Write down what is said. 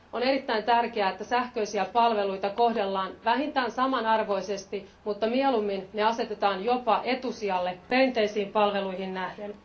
On erittäin tärkeää, että sähköisiä palveluita kohdellaan vähintään samanarvoisesti, mutta mieluummin ne asetetaan jopa etusijalle perinteisiin palveluihin nähden.